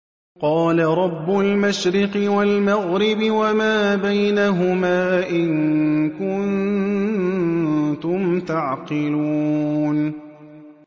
قَالَ رَبُّ الْمَشْرِقِ وَالْمَغْرِبِ وَمَا بَيْنَهُمَا ۖ إِن كُنتُمْ تَعْقِلُونَ